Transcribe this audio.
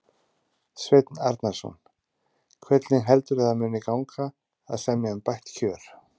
Sveinn Arnarson: Hvernig heldurðu að það muni gangi að semja um bætt kjör?